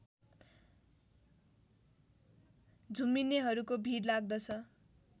झुम्मिनेहरूको भीड लाग्दछ